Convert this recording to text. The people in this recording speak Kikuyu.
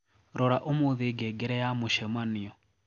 rora umuthi ngengere ya mucemanio